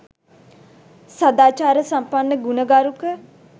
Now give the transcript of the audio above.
සදාචාරසම්පන්න, ගුණගරුක